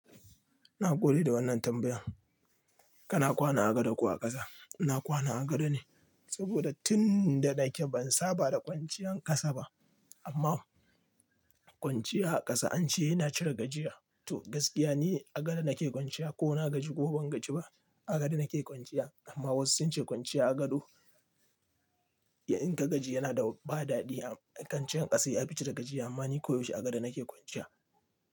Nagode da wannan tambayan. Kana kwana a gado ko a ƙasa? Ina kwana a gado ne, saboda tin da nake ban saba da kwanciyar ƙasa ba. Amma kwanciya a ƙasa ance yana cire gajiya. To gaskiya ne a gado nake kwanciya ko na gaji ko ban gaji ba a gado nake kwanciya. Amma wasu sunce kwanciya a gado, in ka gaji yana da ba dadi. Kwanciyan ƙasa ya fi cire gajiya amma ni koyaushe a gado nake kwanciya.